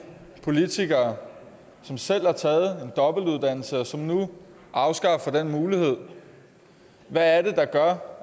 politikere som selv har taget en dobbeltuddannelse og som nu afskaffer den mulighed hvad er det der gør